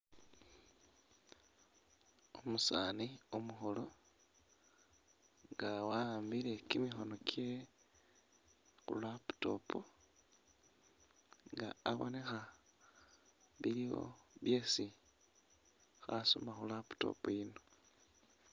Umusaani umukhuulu nga wawaambile kimikhono kye ku laptop nga abonekha biliwo byesi khasoma khu laptop iyino.